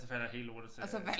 Og så falder hele lortet til øh